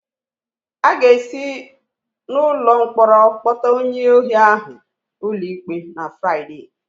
A ga-esi n'ụlọ mkpọrọ kpọta onye ohi ahụ ụlọikpe na Fraịde.